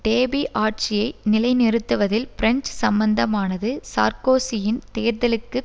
டேபி ஆட்சியை நிலைநிறுத்துவதில் பிரெஞ்சு சம்பந்தமானது சார்க்கோசியின் தேர்தலுக்கு